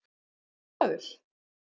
Er ég stressaður?